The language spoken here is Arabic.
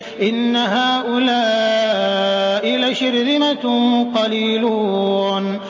إِنَّ هَٰؤُلَاءِ لَشِرْذِمَةٌ قَلِيلُونَ